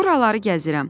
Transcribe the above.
“Buraları gəzirəm.